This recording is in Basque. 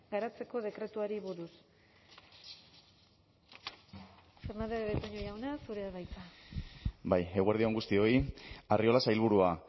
garatzeko dekretuari buruz fernandez de betoño jauna zurea da hitza bai eguerdi on guztioi arriola sailburua